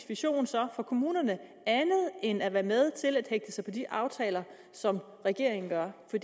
vision så for kommunerne andet end at være med til at hægte sig på de aftaler som regeringen laver når